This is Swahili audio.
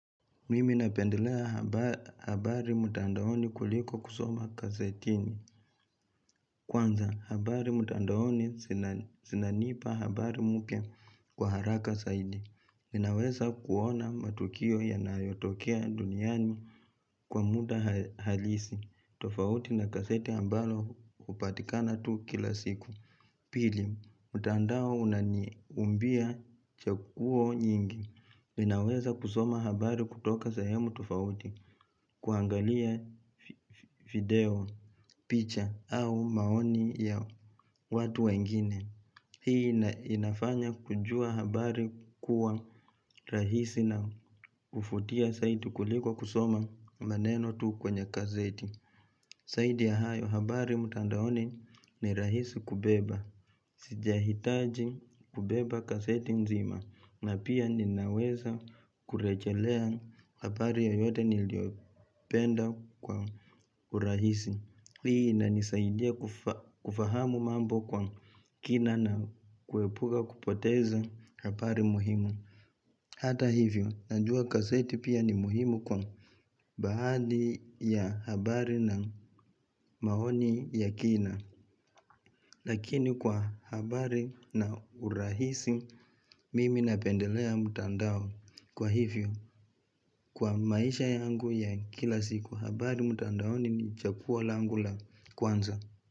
Mimi napendelea habari mutandaoni kuliko kusoma gazetini. Kwanza, habari mutandaoni zinanipa habari mpya kwa haraka zaidi. Ninaweza kuona matukio yanayotokea duniani kwa muda halisi. Tofauti na gazeti ambalo upatikana tu kila siku. Pili, mutandao unaniumbia chaguo nyingi. Ninaweza kusoma habari kutoka sayemu tufauti. Kuangalia video, picha au maoni ya watu wengine. Hii inafanya kujua habari kuwa rahisi na uvutia saidi kuliko kusoma maneno tu kwenye gazeti. Zaidi ya hayo habari mutandaoni ni rahisi kubeba. Sijahitaji kubeba gazeti mzima na pia ninaweza kurejelea habari yoyote niliopenda kwa urahisi Hii na nisaidia kufahamu mambo kwa kina na kuepuka kupoteza habari muhimu Hata hivyo, najua gazeti pia ni muhimu kwa baadhi ya habari na maoni ya kina Lakini kwa habari na urahisi mimi napendelea mutandao kwa hivyo Kwa maisha yangu ya kila siku habari mutandaoni ni chaguo langula kwanza.